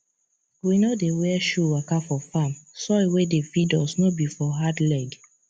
we no dey wear shoe waka for farm soil wey dey feed us no be for hard leg